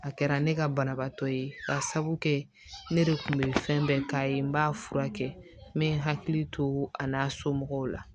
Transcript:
A kɛra ne ka banabaatɔ ye ka sabu kɛ ne de kun be fɛn bɛɛ k'a ye n b'a furakɛ n be hakili to a n'a somɔgɔw la